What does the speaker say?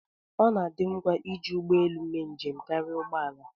ọ na-adị ngwa iji ụgbọ elu mee njem karịa ụgbọ ala